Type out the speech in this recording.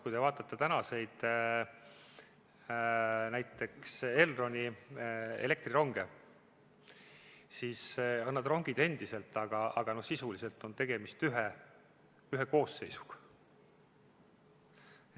Kui te vaatate näiteks Elroni elektrironge, siis on need rongid endiselt, aga sisuliselt on tegemist ühe koosseisuga.